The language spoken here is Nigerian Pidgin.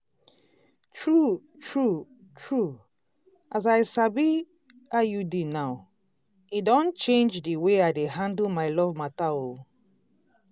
true true true as i sabi iud now e don change d way i dey handle my love matter oh.